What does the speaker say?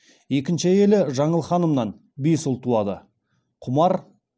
екінші әйелі жаңыл ханымнан бес ұл туады құмар